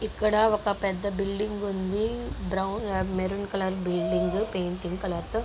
ఇక్కడ ఒక పెద్ద బిల్డింగ్ ఉంది. మేరుం కలర్ ఉంది. బిల్డింగ్ పింక్ కలర్ తో.